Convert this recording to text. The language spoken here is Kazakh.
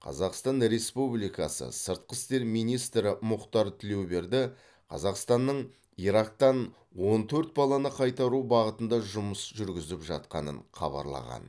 қазақстан республикасы сыртқы істер министрі мұхтар тілеуберді қазақстанның ирактан он төрт баланы қайтару бағытында жұмыс жүргізіп жатқанын хабарлаған